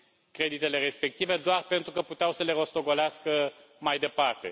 creditele respective, doar pentru că puteau să le rostogolească mai departe.